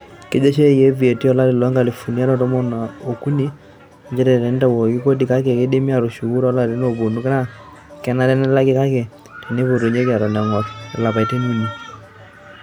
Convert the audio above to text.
Kejo sheria e VAT o lari loo nkalifuni are o tomon o kuni nchere teneitawuoki kodi kake keidimi atushuku to larin oponu naa kenare nelaki kake teneipotunyeki eton engor ilapaitin uni.